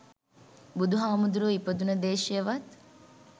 බුදු හාමුදුරුවෝ ඉපදුන දේශයවත්